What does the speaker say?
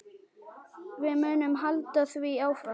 Við munum halda því áfram.